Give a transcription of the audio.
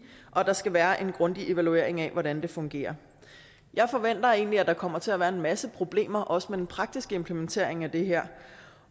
og at der skal være en grundig evaluering af hvordan det fungerer jeg forventer egentlig at der kommer til at være en masse problemer også med den praktiske implementering af det her